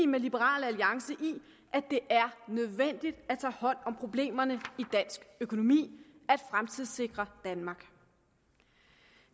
med liberal alliance i at det er nødvendigt at tage hånd om problemerne i dansk økonomi at fremtidssikre danmark